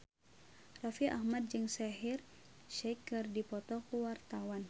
Raffi Ahmad jeung Shaheer Sheikh keur dipoto ku wartawan